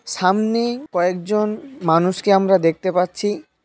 সামনে কয়েকজন মানুষকে আমরা দেখতে পাচ্ছি।